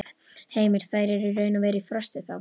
Heimir: Þær eru raun og veru í frosti, þá?